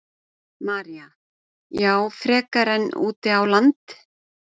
María: Já, frekar en út á land?